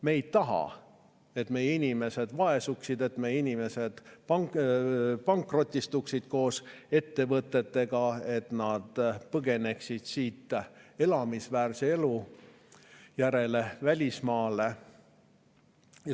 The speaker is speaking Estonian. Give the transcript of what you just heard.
Me ei taha, et meie inimesed vaesuksid, et meie inimesed pankrotistuksid koos ettevõtetega, et nad põgeneksid siit elamisväärset elu välismaale.